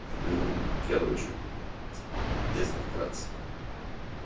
короче если вкратце